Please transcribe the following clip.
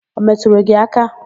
Ọ metụrụ gị aka?